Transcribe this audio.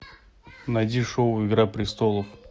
найди шоу игра престолов